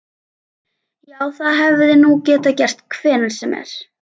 Já, það hefði nú getað gerst hvenær sem er.